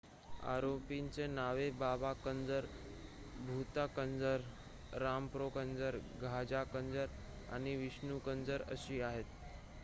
आरोपींची नावे बाबा कंजर भूथा कंजर रामप्रो कंजर गाझा कंजर आणि विष्णू कंजर अशी आहेत